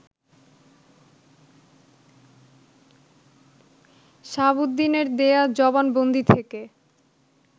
শাহাবুদ্দিনের দেয়া জবানবন্দি থেকে